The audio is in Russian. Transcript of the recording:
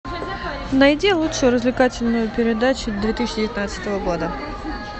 найди лучшую развлекательную передачу две тысячи девятнадцатого года